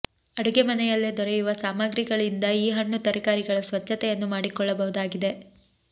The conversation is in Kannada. ಅಡುಗೆ ಮನೆಯಲ್ಲೇ ದೊರೆಯುವ ಸಾಮಾಗ್ರಿಗಳಿಂದ ಈ ಹಣ್ಣು ತರಕಾರಿಗಳ ಸ್ವಚ್ಛತೆಯನ್ನು ಮಾಡಿಕೊಳ್ಳಬಹುದಾಗಿದೆ